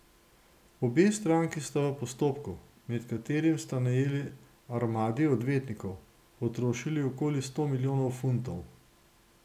Obe stranki sta v postopku, med katerim sta najeli armadi odvetnikov, potrošili okoli sto milijonov funtov.